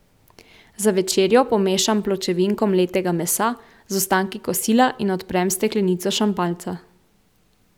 Za večerjo pomešam pločevinko mletega mesa z ostanki kosila in odprem steklenico šampanjca.